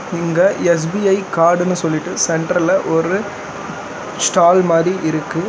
இங்க எஸ்_பி_ஐ காடுன்னு சொல்லிட்டு சென்டர்ல ஒரு ஸ்டால் மாறி இருக்கு.